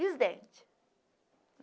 E os dentes?